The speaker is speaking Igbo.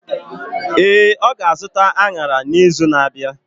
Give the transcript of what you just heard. Ee, ọ ga-azụta añara n’izu na-abịa.